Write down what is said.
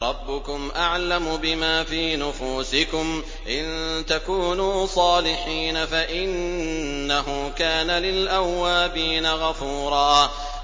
رَّبُّكُمْ أَعْلَمُ بِمَا فِي نُفُوسِكُمْ ۚ إِن تَكُونُوا صَالِحِينَ فَإِنَّهُ كَانَ لِلْأَوَّابِينَ غَفُورًا